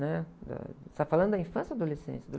né? Da... Você está falando da infância ou adolescência?